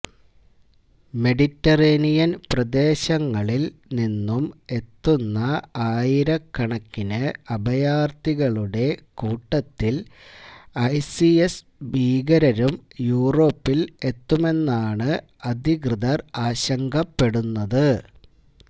Mediterranean പ്രദേശങ്ങളിൽ നിന്നും എത്തുന്ന ആയിരക്കണക്കിന് അഭയാർത്ഥികളുടെ കൂട്ടത്തിൽ ഐസിസ് ഭീകരരും യൂറോപ്പിൽ എത്തുമെന്നാണ് അധികൃതർ ആശങ്കപ്പെടുന്നത്